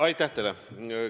Aitäh teile!